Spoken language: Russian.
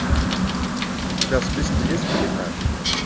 у тебя в списке есть пеликан